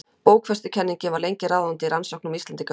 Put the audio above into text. bókfestukenningin var lengi ráðandi í rannsóknum á íslendingasögum